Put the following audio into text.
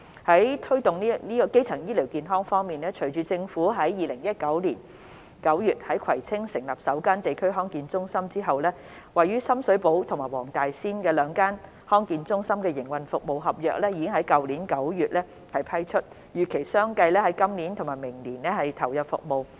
在推動基層醫療健康方面，隨着政府於2019年9月在葵青區成立首間地區康健中心，位於深水埗和黃大仙的兩間地區康健中心的營運服務合約已於去年9月批出，並預期相繼於今年和明年投入服務。